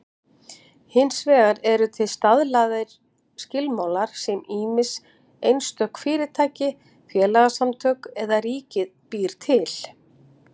Hins vegar eru til staðlaðir skilmálar sem ýmist einstök fyrirtæki, félagasamtök eða ríkið býr til.